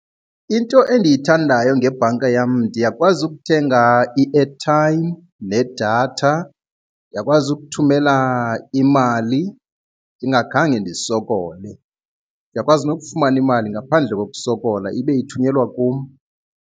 Into endiyithandayo ngebhanka yam ndiyakwazi ukuthenga i-airtime nedatha, ndiyakwazi ukuthumela imali ndingakhange ndisokole ndiyakwazi nokufumana imali ngaphandle kokusokola ibe ithunyelwa kum.